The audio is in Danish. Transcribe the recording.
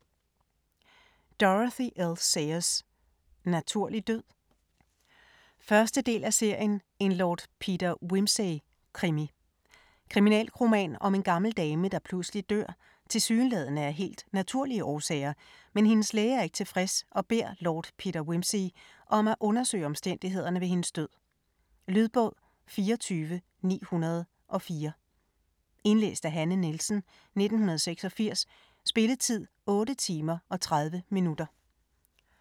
Sayers, Dorothy L.: Naturlig død? 1. del af serien En Lord Peter Wimsey-krimi. Kriminalroman om en gammel dame der pludselig dør tilsyneladende af helt naturlige årsager, men hendes læge er ikke tilfreds og beder Lord Peter Wimsey om at undersøge omstændighederne ved hendes død. Lydbog 24904 Indlæst af Hanne Nielsen, 1986. Spilletid: 8 timer, 30 minutter.